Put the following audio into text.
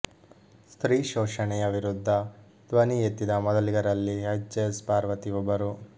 ಸ್ತ್ರೀ ಶೋಷಣೆಯ ವಿರುದ್ಧ ಧ್ವನಿ ಎತ್ತಿದ ಮೊದಲಿಗರಲ್ಲಿ ಎಚ್ ಎಸ್ ಪಾರ್ವತಿ ಒಬ್ಬರು